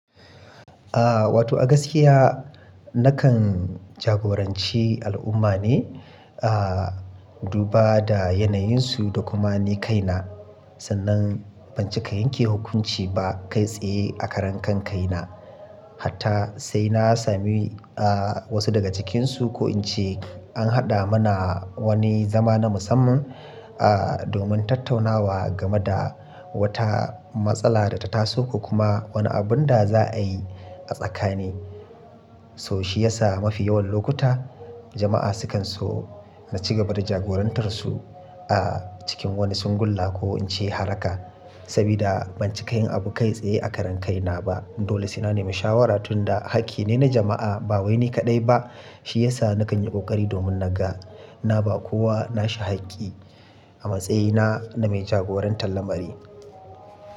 Ah wato a gaskiya nakan jagoranci al'umma ne, ah duba da yanayinsu da kuma ni kaina. Sannan ban cika yanke hukunci ba kai tsaye a karan kankaina. Hatta sai na sami ah wasu daga cikinsu ko in ce an haɗa mana wani zama na musamman, ah domin tattaunawa game da wata matsala da ta taso ko kuma wani abun da za a yi a tsakani. To shi yasa mafi yawan lokuta jama'a sukan so na ci gaba da jagorantar su ah cikin wani singulla ko in ce haraka. Sabida ban cika yin abu kai tsaye a karan kaina ba. Dole sai na nemi shawara tunda hakki ne na jama'a ba wai ni kaɗai ba. Shi yasa nakan yi kokari domin naga na ba kowa nashi hakki a matsayina na mai jagorantar lamari.